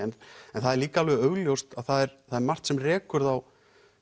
en það er líka alveg augljóst að það er það er margt sem rekur þá